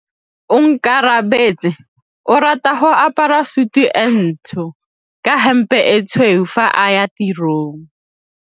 Onkabetse o rata go apara sutu e ntsho ka hempe e tshweu fa a ya tirong.